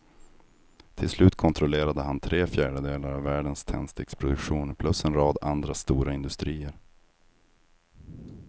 Till slut kontrollerade han tre fjärdedelar av världens tändsticksproduktion plus en rad andra stora industrier.